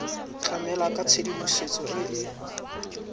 tlamela ka tshedimosetso e e